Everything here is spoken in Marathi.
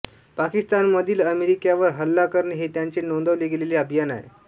पाकिस्तानमधील अमेरिक्यांवर हल्ला करणे हे त्याचे नोंदवले गेलेले अभियान आहे